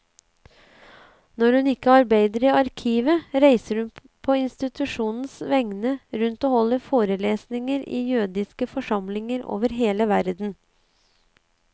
Når hun ikke arbeider i arkivet, reiser hun på institusjonens vegne rundt og holder forelesninger i jødiske forsamlinger over hele verden.